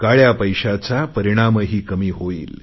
काळया पैशाचा परिणामही कमी होईल